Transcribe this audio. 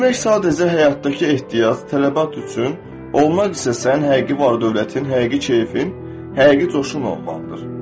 Etmək sadəcə həyatdakı ehtiyac, tələbat üçün, olmaq isə sənin həqiqi var-dövlətin, həqiqi keyfin, həqiqi coşun olmalıdır.